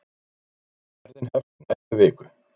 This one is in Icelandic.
Ferðin hefst í næstu viku.